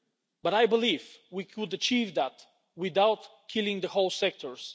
But I believe we could achieve that without killing whole sectors.